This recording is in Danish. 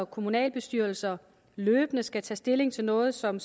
kommunalbestyrelser løbende skal tage stilling til noget som